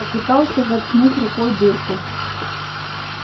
попытался заткнуть рукой дырку